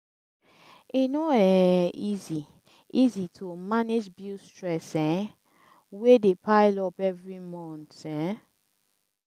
e bo um easy if it is to manage this stress um wey dey pile up every month um